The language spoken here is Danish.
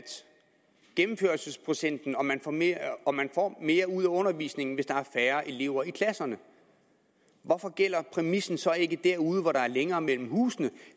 gennemførelsesprocenten og at man får mere mere ud af undervisningen hvis der er færre elever i klasserne hvorfor gælder præmissen så ikke derude hvor der er længere mellem husene